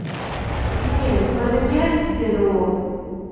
міне көрдің бе деді ол